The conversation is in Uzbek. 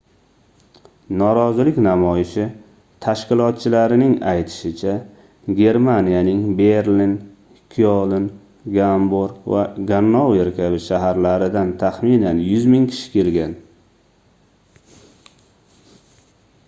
norozilik namoyishi tashkilotchilarining aytishicha germaniyaning berlin kyoln gamburg va gannover kabi shaharlaridan taxminan 100 000 kishi kelgan